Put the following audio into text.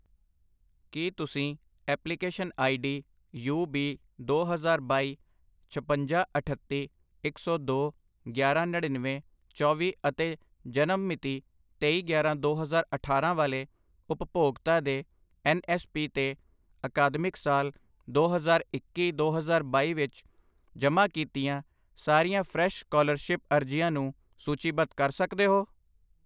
ਕੀ ਤੁਸੀਂ application I D U B ਦੋ ਹਜ਼ਾਰ ਬਾਈ, ਛਪੰਜਾ, ਅਠੱਤੀ, ਇੱਕ ਸੌ ਦੋ, ਗਿਆਰਾਂ, ਨੜੀਨਵੇਂ, ਚੌਵੀ ਅਤੇ ਜਨਮ ਮਿਤੀ ਤੇਈ ਗਿਆਰਾਂ ਦੋ ਹਜ਼ਾਰ ਅਠਾਰਾਂ ਵਾਲੇ ਉਪਭੋਗਤਾ ਦੇ ਐੱਨ ਐੱਸ ਪੀ 'ਤੇ ਅਕਾਦਮਿਕ ਸਾਲ ਦੋ ਹਜ਼ਾਰ ਇੱਕੀ ਦੋ ਹਜ਼ਾਰ ਬਾਈ ਵਿੱਚ ਜਮ੍ਹਾਂ ਕੀਤੀਆਂ ਸਾਰੀਆਂ ਫਰੈਸ਼ ਸਕਾਲਰਸ਼ਿਪ ਅਰਜ਼ੀਆਂ ਨੂੰ ਸੂਚੀਬੱਧ ਕਰ ਸਕਦੇ ਹੋ?